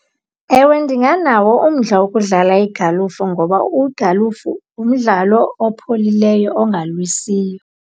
Ewe ndinganawo umdla wokudlala igalufu ngoba igalufu ngumdlalo opholileyo ongalwisiyo.